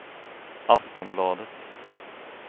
Aftonbladet